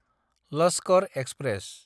Lashkar express